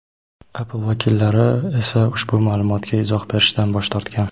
Apple vakillari esa ushbu ma’lumotga izoh berishdan bosh tortgan.